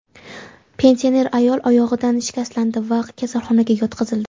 Pensioner ayol oyog‘idan shikastlandi va kasalxonaga yotqizildi.